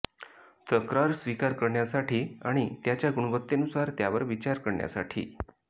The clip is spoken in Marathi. तक्रार स्वीकार करण्यासाठी आणि त्याच्या गुणवत्तेनुसार त्यावर विचार करण्यासाठी